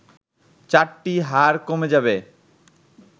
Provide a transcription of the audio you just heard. চারটি হাড় কমে যাবে